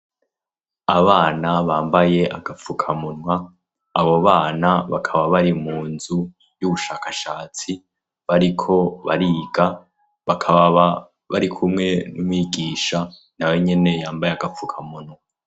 Abana bambaye agapfukamunwa, abo bana bakaba bari mu nzu y'ubushakashatsi, bariko bariga, bakaba bari kumwe n'umwigisha, nawe nyene yambaye agapfukamunwa.